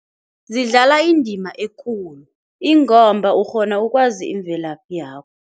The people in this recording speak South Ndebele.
Zidlala indima ekulu ingomba ukghona ukwazi imvelaphi yakho.